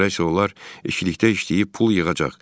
Sonra isə onlar ikilikdə işləyib pul yığacaq.